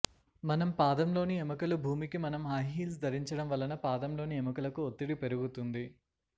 మనం పాదంలోని ఎముకలు భూమికి మనం హైహీల్స్ ధరించడం వలన పాదంలోని ఎముకలకు ఒత్తిడి పెరుగుతుంది